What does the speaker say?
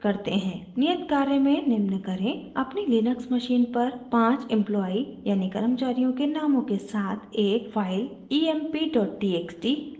नियत कार्य में निम्न करें अपनी लिनक्स मशीन पर 5 एम्प्लॉई कर्मचारियों के नामों के साथ एक फाइल emptxt बनाएं